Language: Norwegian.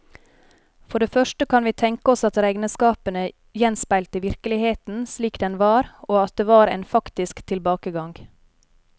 For det første kan vi tenke oss at regnskapene gjenspeilte virkeligheten slik den var, og at det var en faktisk tilbakegang.